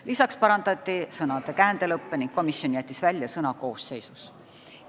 Lisaks muudeti sõnade käändelõppe ning komisjon jättis välja sõna "koosseisus".